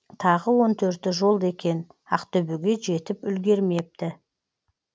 тағы он төрті жолда екен ақтөбеге жетіп үлгермепті